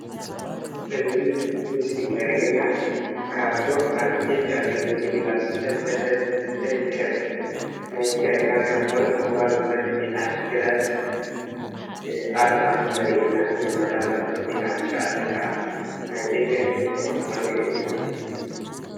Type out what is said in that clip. እዚ ምስሊ ዘርእየና ካብቶም ኣብ ኢትዮጵያ ፕሪሜሪሊንግ እናተሳተፈት ትርከብ ናይ ትግራይ ጋንታ ዝኾነት ወልዋሎ ዩኒቨርሲቲ ዓዲግራት ኣርማ ከም ዘርእየና የመላኽት፡፡ ቁፅሪ 99 ከዓ ናይ በጀት ቁፅሪ ከም ዝኾነ የርእየና፡፡